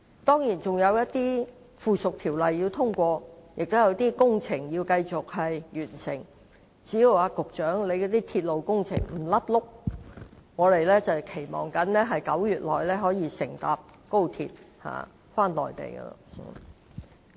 當然，仍要通過一些附屬條例，也有工程要繼續進行，只要局長負責的鐵路工程不"甩轆"，我們期望在9月乘搭高鐵往內地。